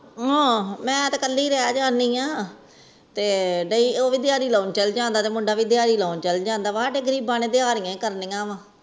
ਮੈਂ ਤੇ ਕਾਲੀ ਰਹਿ ਜਾਂਦੇ ਆ ਮੁੰਡਾ ਵੀ ਦਿਹਾੜੀ ਲੈਣ ਚਲ ਜਾਂਦਾ ਸਾਡੇ ਗਰੀਬ ਨੇ ਤਾ ਫੇਰ ਦਿਹਾਰਰਿਯੈ ਲਾਉਣੀਆਂ ਨੇ